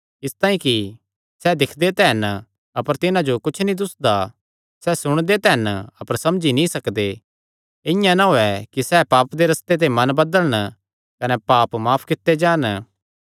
इसतांई कि सैह़ दिक्खदे तां हन अपर तिन्हां जो कुच्छ दुस्सदा नीं सैह़ सुणदे तां हन अपर समझी नीं सकदे इआं ना होये कि सैह़ पाप दे रस्ते ते फिरन कने माफ कित्ते जान